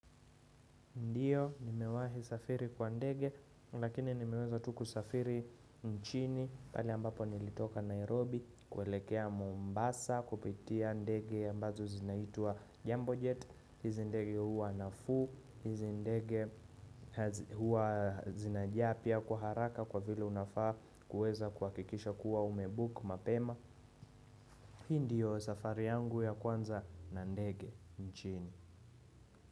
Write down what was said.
Ndiyo, nimewahi safiri kwa ndege, lakini nimeweza tu kusafiri nchini, pale ambapo nilitoka Nairobi, kuelekea Mombasa, kupitia ndege ambazo zinaitwa Jambo Jet, hizi ndege huwa nafuu, hizi ndege huwa zinajaa pia kwa haraka kwa vile unafaa kuweza kuhakikisha kuwa umebook mapema. Ndiyo safari yangu ya kwanza na ndege nchini.